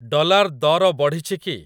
Dollar ଦର ବଢ଼ିଛିକି?